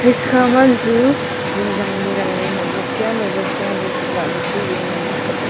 ekhama zu zing zan ley moh moh kya tinlah ley wai chu ngan ang kap ley.